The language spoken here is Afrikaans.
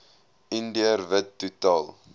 indiër wit totaal